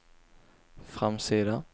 framsida